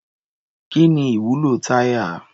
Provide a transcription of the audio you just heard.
Kí ni ìwúlò táyà?